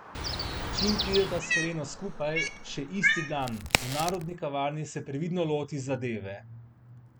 Čim prideta s Heleno skupaj, še isti dan, v Narodni kavarni, se previdno loti zadeve.